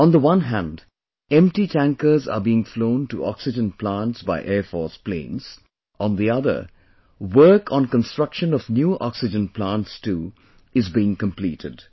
On the one hand empty tankers are being flown to oxygen plants by Air Force planes, on the other, work on construction of new oxygen plants too is being completed